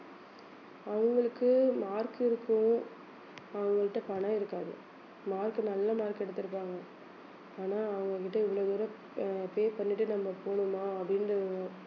அவங்களுக்கு mark இருக்கும் அவங்ககிட்ட பணம் இருக்காது mark நல்ல mark எடுத்திருப்பாங்க ஆனா அவங்க வந்துட்டு இவ்வளவு தூரம் அஹ் pay பண்ணிட்டு நம்ம போணுமா அப்படின்ற ஒரு